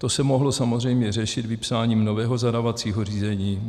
To se mohlo samozřejmě řešit vypsáním nového zadávacího řízení.